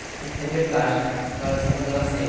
Você tem que ter verdade na hora que você está fazendo a cena.